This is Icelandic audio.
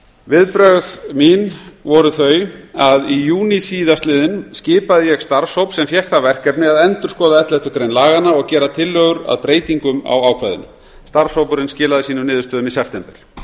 viðbrögð mín voru þau að í júní síðastliðnum skipaði ég starfshóp sem fékk það verkefni að endurskoða elleftu grein laganna og gera tillögur að breytingum á ákvæðinu starfshópurinn skilaði sínum niðurstöðum í september